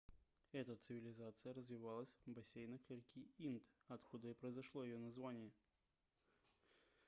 эта цивилизация развивалась в бассейнах реки инд откуда и произошло её название